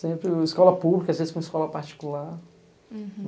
Sempre a escola pública, às vezes, com a escola particular. Uhum